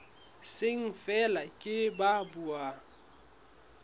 seng feela ke ba buang